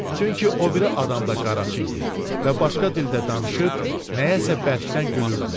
Çünki o biri adam da qaraçı idi və başqa dildə danışıb nəyəsə bərkdən gülürdülər.